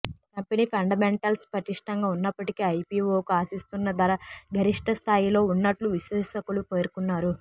company fundamentals పటిష్టంగా ఉన్నప్పటికీ ఐపీవోకు ఆశిస్తున్న ధర గరిష్టస్థాయిలో ఉన్నట్లు విశ్లేషకులు పేర్కొన్నారు